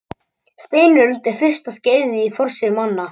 Steinöld er fyrsta skeiðið í forsögu manna.